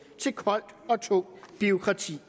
til koldt og tungt bureaukrati